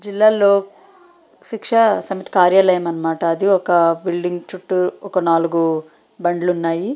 జిల్లా లో శిక్ష సమితి కార్యాలయం అన్నమాట అది ఒక బిల్డింగ్ చుట్టూ ఒక నాలుగు బండ్లు ఉన్నాయి .